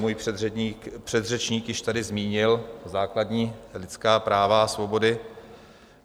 Můj předřečník již tady zmínil základní lidská práva a svobody.